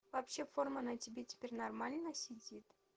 вообще форма на тебе теперь нормально сидит